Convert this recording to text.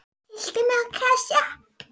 Tyllti mér á kassa.